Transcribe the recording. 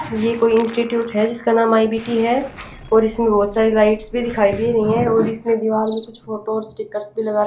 यह कोई इंस्टिट्यूट है जिसका नाम आई_बी_टी है और इसमें बहुत सारी लाइट्स भी दिखाई दे रही हैं और इसमें दीवार में कुछ फोटोज और स्टिकर्स भी लगा --